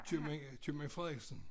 Købmand købmand Frederiksen